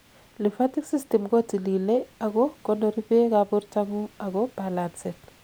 lymphatic system kotililei ak ko konori beek ab bortangung ak ko balancen